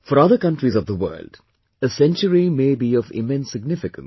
For other countries of the world, a century may be of immense significance